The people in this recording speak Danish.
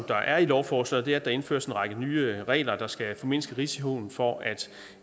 der er i lovforslaget er at der indføres en række nye regler der skal formindske risikoen for at